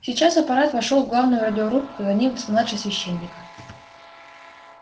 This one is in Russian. сейчас апорат вошёл в главную радиорубку за ним младший священник